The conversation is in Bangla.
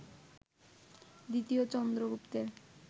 দ্বিতীয় চন্দ্রগুপ্তের